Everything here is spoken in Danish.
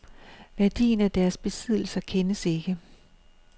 Værdien af deres besiddelser kendes ikke.